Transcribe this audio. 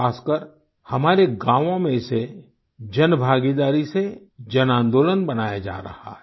खासकर हमारे गाँवों में इसे जनभागीदारी से जनआन्दोलन बनाया जा रहा है